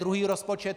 Druhý rozpočet.